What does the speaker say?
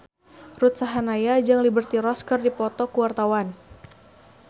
Ruth Sahanaya jeung Liberty Ross keur dipoto ku wartawan